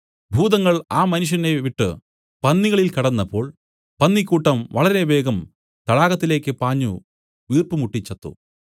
ഭൂതങ്ങൾ ആ മനുഷ്യനെ വിട്ടു പന്നികളിൽ കടന്നപ്പോൾ പന്നിക്കൂട്ടം വളരെ വേഗം തടാകത്തിലേക്ക് പാഞ്ഞു വീർപ്പുമുട്ടി ചത്തു